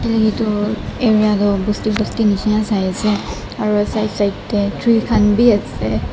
phaelae toh area toh basti basti nishina saiase aro side side tae tree khan biase.